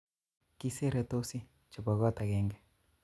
Kiseretosi chebo kot agenge